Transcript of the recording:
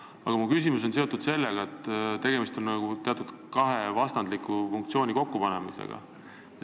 Kuid mu küsimus on seotud sellega, et tegemist on kahe vastandliku funktsiooni kokkupanemisega.